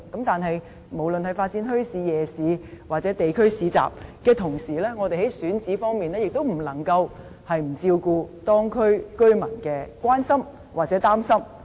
但是，無論是發展墟市、夜市或地區市集，在同一時間，我們在選址方面也不能不照顧當區居民的關注或憂慮。